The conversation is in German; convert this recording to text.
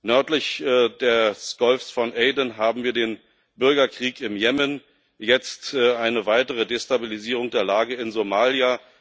Nördlich des Golfs von Aden haben wir den Bürgerkrieg in Jemen, jetzt eine weitere Destabilisierung der Lage in Somalia.